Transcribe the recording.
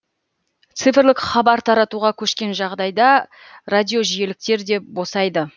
цифрлық хабар таратуға көшкен жағдайда радиожиіліктер де босайды